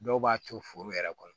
Dɔw b'a to foro yɛrɛ kɔnɔ